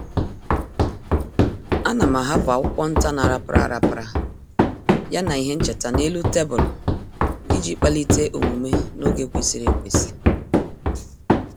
A na m ahapụ akwụkwọ nta na-arapara arapara ya na ihe ncheta n'elu tebụlụ iji kpalite omume n’oge kwesịrị ekwesị.